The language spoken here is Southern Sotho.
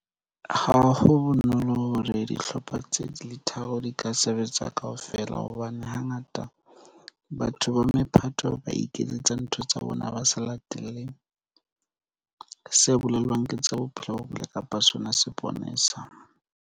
Ha ho bonolo hore dihlopha tse di tla sebetsa kaofela, hobane hangata batho ba mephato ba iketsetsa ntho tsa bona ba sa lateleng se bolelang ke tsa bophelo bo botle kapa sona seponesa.